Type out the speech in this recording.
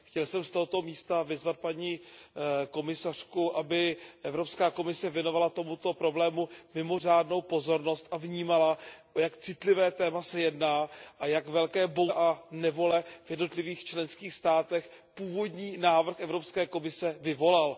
Chtěl jsem z tohoto místa vyzvat paní komisařku, aby Evropská komise věnovala tomuto problému mimořádnou pozornost a vnímala, o jak citlivé téma se jedná a jak velké bouře a nevole v jednotlivých členských státech původní návrh Evropské komise vyvolal.